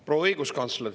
Proua õiguskantsler!